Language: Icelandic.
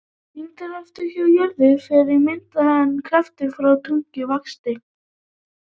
Þyngdarkrafturinn frá jörð fer þá minnkandi en krafturinn frá tungli vaxandi.